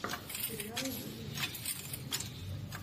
сериал юны лим ютьюб